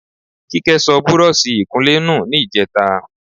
Kíkẹ́ sọ búrọ́ọ̀ṣì ìkunlé nù ní ìjẹta.